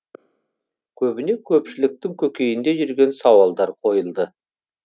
көбіне көпшіліктің көкейінде жүрген сауалдар қойылды